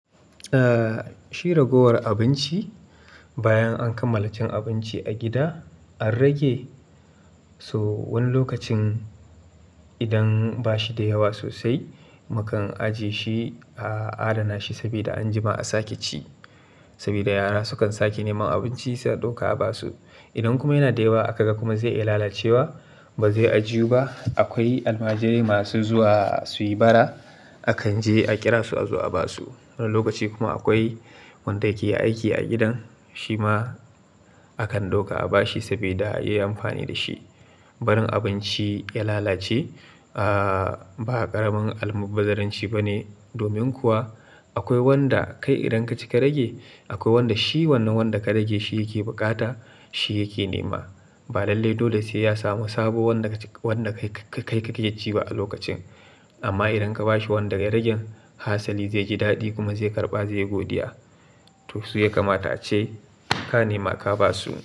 Shi ragowar abinci, bayan an kammala cin abinci a gida an rage, so wani lokacin idan ba shi da yawa sosai, mu kan ajiye shi a adana shi saboda anjima a sake ci. Saboda yara sukan sake neman abinci sai a ɗauka a ba su. Idan kuma yana da yawa aka ga kuma zai iya lalacewa ba zai ajiyuba. Akwai almajirai masu zuwa suyi bara akan je a ƙira su a zo a basu. Wani lokaci kuma akwai wanda yake aiki a gidan, shi ma akan ɗauka a bashi saboda yayi amfani dashi. Barin abinci ya lalace ba ƙaramin almubazzaranci ba ne. Domin kuwa akwai wanda kai idan ka cika rage, akwai wanda shi wannan wanda ka rage shi yake buƙata shi yake nema. Ba lallai dole sai ya samu sabo wanda kaci, wanda kai kake ci ba a lokacin. Amma idan ka bashi wanda ya rage, hatsali zai ji daɗi kuma zai karɓa zai godiya. To su ya kamata ace ka nema ka basu.